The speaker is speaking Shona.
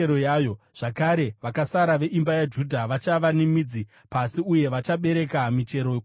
Zvakare, vakasara veimba yaJudha vachava nemidzi pasi uye vachabereka michero kumusoro.